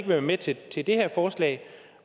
være med til til det her forslag